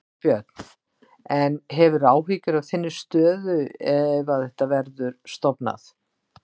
Þorbjörn: En hefurðu áhyggjur af þinni stöðu ef að þetta verður stofnað?